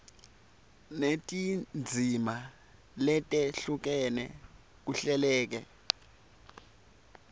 netindzima letehlukene kuhleleke